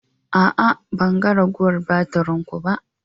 A'a, ban ga ragowar batirin ku ba.